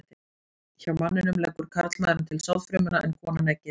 Hjá manninum leggur karlmaðurinn til sáðfrumuna en konan eggið.